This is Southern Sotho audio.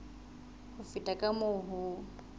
ho feta ka moo ho